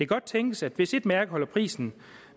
godt tænkes at hvis et mærke holder prisen